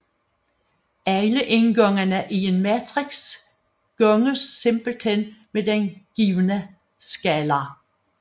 Alle indgangene i en matrix ganges simplethen med den givne skalar